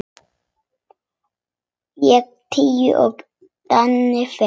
Ég tíu og Dadda fimm.